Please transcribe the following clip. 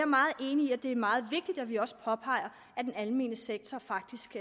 meget enig i at det er meget vigtigt at vi også påpeger at den almene sektor faktisk